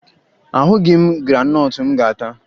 Ahụghị m graanọtụ m ga-ata